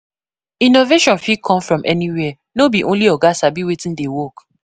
Innovation fit come from anywhere; no be only oga sabi wetin dey work.